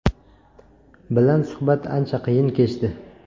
bilan suhbat ancha qiyin kechdi.